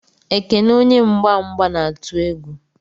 Ekene onye mgba mgba na-atụ egwu.